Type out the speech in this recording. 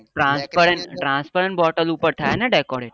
transparent bottle ઉપર થાય ને decorate